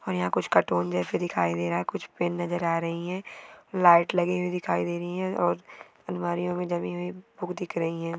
और यहाँ कुछ कार्टून जैसी दिखाई दे रहा है। कुछ पेन नजर आ रही है। लाइट लगी हुई दिखाई दे रही है और अलमारीयों मे जमी हुई बूक दिख रही है।